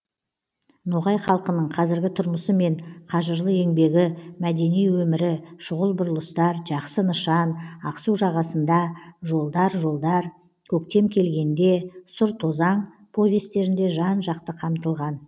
ноғай халқының қазіргі тұрмысы мен қажырлы еңбегі мәдени өмірі шұғыл бұрылыстар жақсы нышан ақсу жағасында жолдар жолдар көктем келгенде сұр тозаң повестерінде жан жақты қамтылған